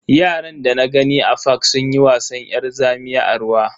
Yaran dana gani a fak sunyi wasan yar zamiya a ruwa.